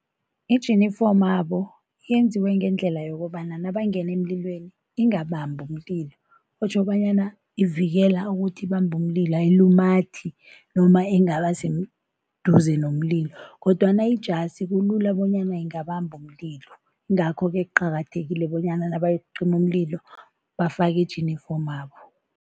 Ijinifomabo yenziwe ngendlela yokobana nabangena emlilweni ingabambi umlilo, otjho bonyana ivikela ukuthi ibambe umlilo, ayilumathi noma ingabaseduze nomlilo kodwana ijasi kulula bonyana ingabamba umlilo, yingakho-ke kuqakathekile bonyana nabayokucima umlilo, bafake ijinifomabo.